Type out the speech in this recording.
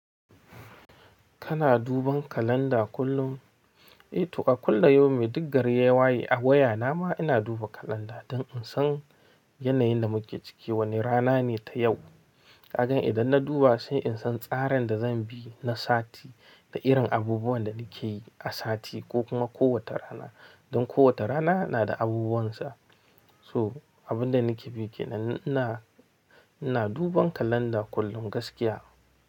Kana duban kalanda kullum? Eh, to akulla yaumi di gari yawaye a waya na ma ina duba kalanda don in san yanayin da muke cike wane rana ne ta yau. Kaga idan na duba sai in san tsarin da zan bi na sati da irin abubuwan da nake yi a sati ko kuma kowace rana. Don kowata rana na da abubuwan sa. So, abin da nake biki na ina, ina duban kalanda kullum gaskiya.